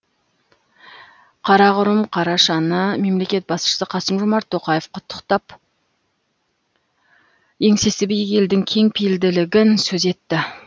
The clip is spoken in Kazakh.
қарақұрым қарашаны мемлекет басшысы қасым жомарт тоқаев құттықтап еңсесі биік елдің кеңпейілділігін сөз етті